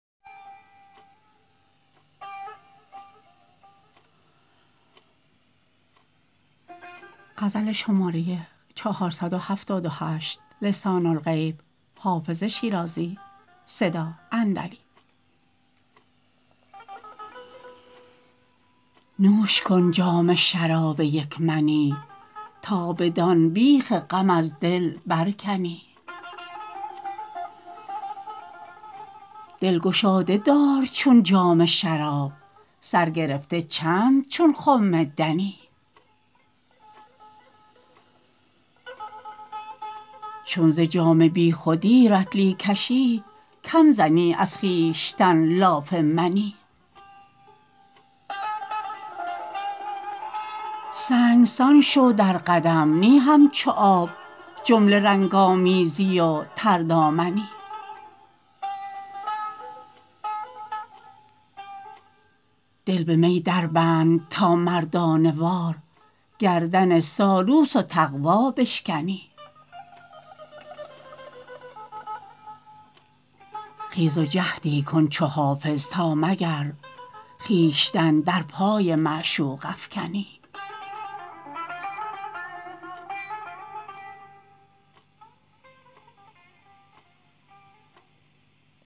نوش کن جام شراب یک منی تا بدان بیخ غم از دل برکنی دل گشاده دار چون جام شراب سر گرفته چند چون خم دنی چون ز جام بی خودی رطلی کشی کم زنی از خویشتن لاف منی سنگسان شو در قدم نی همچو آب جمله رنگ آمیزی و تردامنی دل به می دربند تا مردانه وار گردن سالوس و تقوا بشکنی خیز و جهدی کن چو حافظ تا مگر خویشتن در پای معشوق افکنی